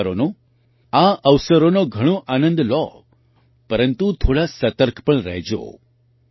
તમે તહેવારોનો આ અવસરોનો ઘણો આનંદ લો પરંતુ થોડા સતર્ક પણ રહેજો